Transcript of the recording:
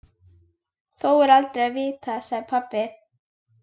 Þó er aldrei að vita, sagði pabbi.